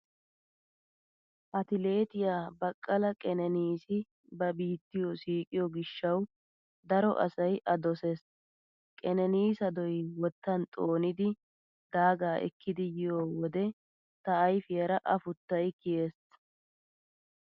Atileetiyaa Baqala Qeneniisi ba biittiyo siiqiyo gishshawu daro asay A dosees . Qeneniisadoy wottan xoonidi daagaa ekkidi yiyo wode ta ayfiyaara afuttay kiyees.